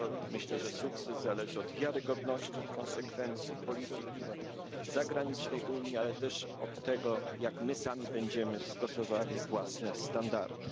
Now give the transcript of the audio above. Myślę, że sukces zależy od wiarygodności i konsekwencji polityki zagranicznej Unii, ale też od tego, jak my sami będziemy stosowali własne standardy.